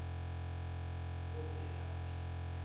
bovelaphi